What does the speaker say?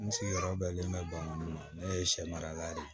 N sigiyɔrɔ bɛnnen bɛ bamakɔ ma ne ye sɛ mara la de